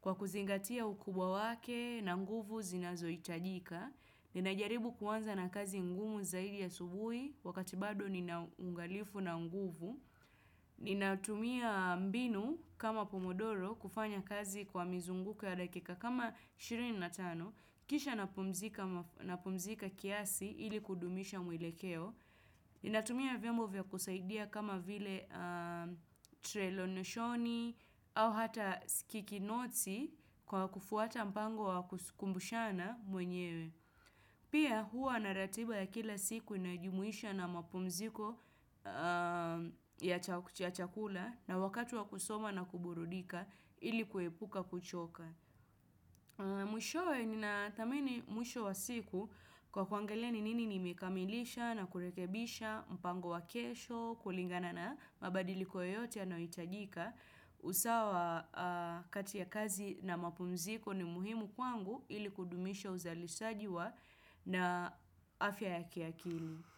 kwa kuzingatia ukubwa wake na nguvu zinazo itajika. Ninajaribu kuanza na kazi ngumu zaidi asubuhi wakati bado ninaungalifu na nguvu. Ninatumia mbinu kama pomodoro kufanya kazi kwa mizunguko ya dakika kama 25 Kisha napumzika kiasi ili kudumisha mwelekeo Ninatumia vyombo vya kusaidia kama vile trelo neshoni au hata kiki noti kwa kufuata mpango wa kusikumbushana mwenyewe Pia huwa na ratiba ya kila siku inayojumuisha na mapumziko ya chakula na wakati wa kusoma na kuburudika ili kuepuka kuchoka. Mwisho wa siku kwa kuangalia ni nini nimekamilisha na kurekebisha, mpango wa kesho, kulingana na mabadiliko yote yanayoitajika usawa kati ya kazi na mapumziko ni muhimu kwangu ili kudumisha uzalisaji wa na afya ya kiakili.